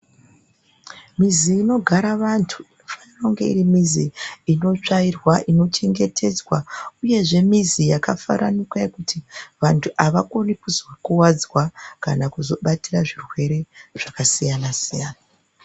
Mizi inogara vantu inonge iri mizi inotsvairwa ino chengetedzwa uyezve mizi yakafaranuka yekuti vantu avakoni kuzokuvadzwa kana kuzobatatira zvirwere zvakasiyana siyana.